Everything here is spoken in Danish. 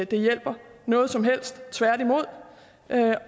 det hjælper noget som helst tværtimod